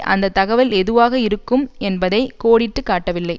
அந்த தகவல் எதுவாக இருக்கும் என்பதை கோடிட்டு காட்டவில்லை